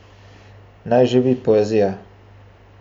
Naj živi poezija!